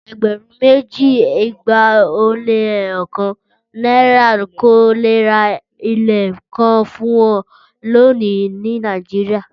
Ẹgbẹ̀rún méjì, igba ó lé ẹyọ kan naira kò lè ra ilẹ̀ kan fún ọ lónìí ní Nàìjíríà.